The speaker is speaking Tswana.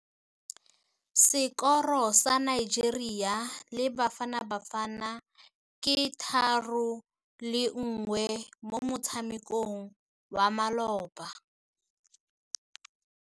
Sekôrô sa Nigeria le Bafanabafana ke 3-1 mo motshamekong wa malôba.